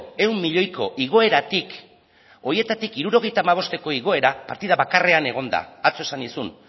ehun milioiko igoeratik horietatik hirurogeita hamabosteko igoera partida bakarrean egon da atzo esan nizun